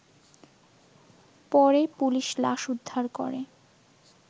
পরে পুলিশ লাশ উদ্ধার করে